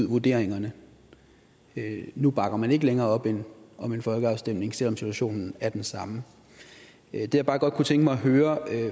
vurderingerne nu bakker man ikke længere op om en folkeafstemning selv om situationen er den samme det jeg bare godt kunne tænke mig at høre